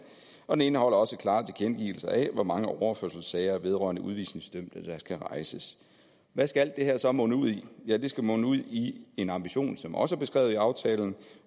og den indeholder også en klar tilkendegivelse af hvor mange overførselssager vedrørende udvisningsdømte der skal rejses hvad skal alt det her så munde ud i ja det skal munde ud i en ambition som også er beskrevet i aftalen